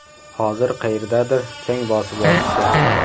Hozir qayerdadir chang bosib yotibdi.